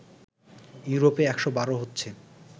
ইউরোপে ১১২ হচ্ছে